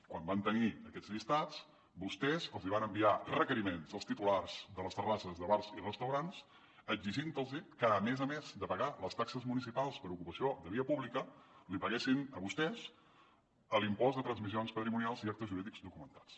quan van tenir aquests llistats vostès els van enviar requeriments als titulars de les terrasses de bars i restaurants exigint los que a més a més de pagar les taxes municipals per ocupació de via pública els paguessin a vostès l’impost de transmissions patrimonials i actes jurídics documentats